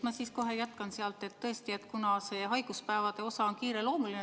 Ma siis kohe jätkan sealt, et tõesti, see haiguspäevade osa on kiireloomuline.